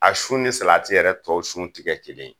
A sun ni yɛrɛ tɔ sun ti kɛ kelen ye.